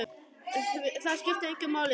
Það skiptir engu máli, sagði hún.